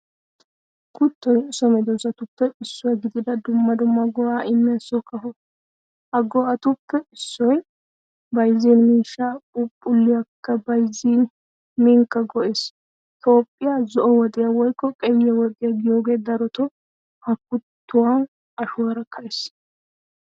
Kutoy so medosappe issuwaa gidida dumma dumma go'a immiyaa so kafo. Ha go'atuppe issoy bayzzin miishshaa, phuphphulekka bayzzin, minikka go'ees. Toophphiyaa zo'o woxiyaa woykko qey woxiya giyooge daroto ha kutuwa ashuwaara kaees.